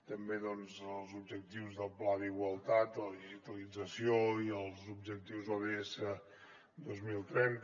també doncs els objectius del pla d’igualtat la digitalització i els objectius ods dos mil trenta